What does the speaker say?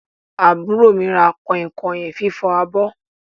Àbúrò mi ra kọ̀inkọ̀in fifọ abọ́.